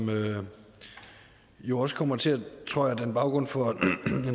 jo også kommer til tror jeg at danne baggrund for en